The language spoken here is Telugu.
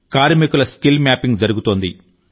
కార్మికుల స్కిల్ మ్యాపింగ్ జరుగుతోంది